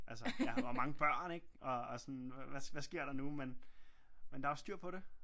Altså hvor mange børn ikke og sådan hvad sker der nu men der er styr på det